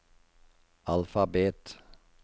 alfabet